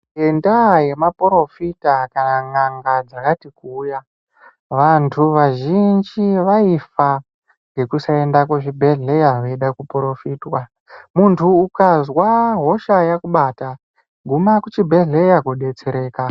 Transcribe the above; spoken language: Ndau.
Ngendaa yemaphorofita kana n'anga dzakati kuuya, vantu vazhinji vaifa ngekuda kusaenda kuzvibhedhleya ngekuda kuphorofitwa. Muntu ukazwa hosha yakubata ,guma kuchibhedhleya kodetsereka.